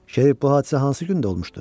Şerif bu hadisə hansı gündə olmuşdu?